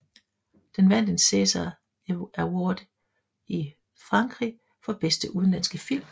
Den vandt en César Award i Frankrig for bedste udenlandske film